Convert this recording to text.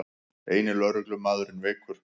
Eini lögreglumaðurinn veikur